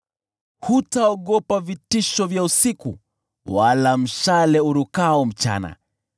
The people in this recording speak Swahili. Hutaogopa vitisho vya usiku, wala mshale urukao mchana,